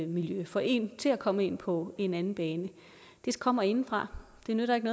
miljø få en til at komme ind på en anden bane kommer indefra det nytter ikke